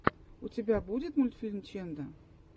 у тебя будет мультфильм ченда